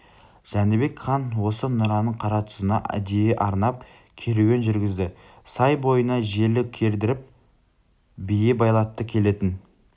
жәнібек хан осы нұраның қаратұзына әдейі арнап керуен жүргізді сай бойына желі кердіріп бие байлатты келетін